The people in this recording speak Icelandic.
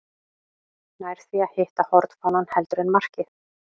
Nær því að hitta hornfánann heldur en markið.